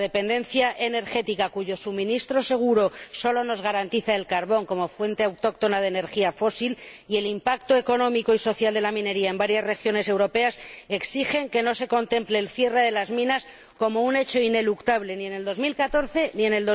Nuestra dependencia energética hace que el suministro seguro solo nos lo garantice el carbón como fuente autóctona de energía fósil, y el impacto económico y social de la minería en varias regiones europeas exigen que no se contemple el cierre de las minas como un hecho ineluctable ni en 2014 ni en